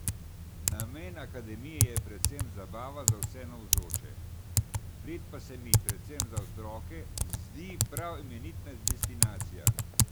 Namen akademije je predvsem zabava za vse navzoče, Bled pa se mi, predvsem za otroke, zdi prav imenitna destinacija.